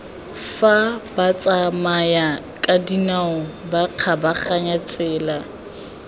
fa batsamayakadinao ba kgabaganyang tsela